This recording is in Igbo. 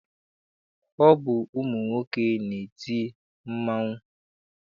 Ọ bụ ụmụnwoke na-eti mmanwụ.